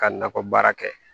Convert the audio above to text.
Ka nakɔ baara kɛ